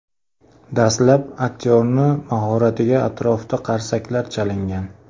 Dastlab aktyorning mahoratiga atrofda qarsaklar chalingan.